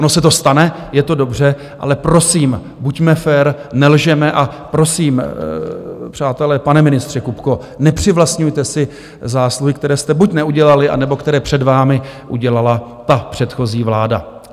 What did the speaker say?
Ono se to stane, je to dobře, ale prosím, buďme fér, nelžeme a prosím, přátelé, pane ministře Kupko, nepřivlastňujte si zásluhy, které jste buď neudělali, anebo které před vámi udělala ta předchozí vláda.